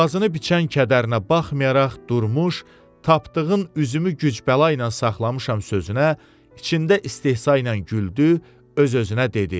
Boğazını biçən kədərinə baxmayaraq Durmuş, Tapdığın “üzümü gücbəla ilə saxlamışam” sözünə içində istehza ilə güldü, öz-özünə dedi: